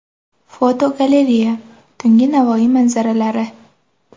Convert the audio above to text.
Fotogalereya: Tungi Navoiy manzaralari.